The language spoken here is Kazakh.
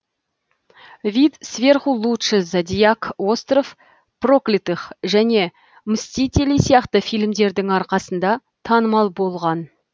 вид сверху лучше зодиак остров проклятых және мстители сияқты фильмдердің арқасында танымал болған